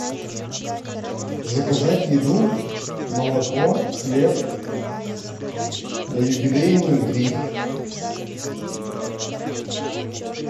заказать еду молоко хлеб на юбилейную три